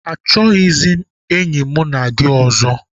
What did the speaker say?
Achọghịzị m enyi mụ na gị ọzọ.